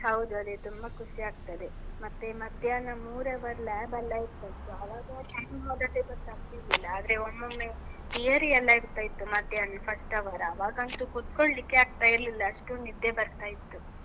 ಹೌದು ಅದೇ, ತುಂಬ ಖುಷಿ ಆಗ್ತದೆ. ಮತ್ತೆ, ಮಧ್ಯಾಹ್ನ ಮೂರ್ hour lab ಎಲ್ಲ ಇತ್ತಲ್ವ, ಆವಾಗ time ಹೋದದ್ದೇ ಗೊತ್ತಾಗ್ತಿರ್ಲಿಲ್ಲ. ಆದ್ರೆ, ಒಮ್ಮೊಮ್ಮೆ theory ಎಲ್ಲ ಇರ್ತಾ ಇತ್ತು, ಮಧ್ಯಾಹ್ನ first hour , ಆವಾಗಂತೂ ಕುತ್ಕೊಳ್ಲಿಕ್ಕೇ ಆಗ್ತಾ ಇರ್ಲಿಲ್ಲ, ಅಷ್ಟು ನಿದ್ದೆ ಬರ್ತಾ ಇತ್ತು.